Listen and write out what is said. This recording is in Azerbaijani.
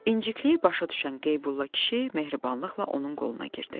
İncikliyi başa düşən Qeybulla kişi mehribanlıqla onun qoluna girdi.